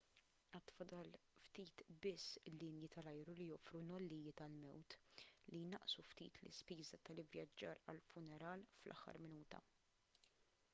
għad fadal ftit biss linji tal-ajru li joffru nollijiet għall-mewt li jnaqqsu ftit l-ispiża tal-ivvjaġġar għal funeral fl-aħħar minuta